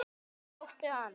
Tókstu hann?